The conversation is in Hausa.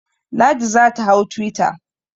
Ladi za ta hau twitter.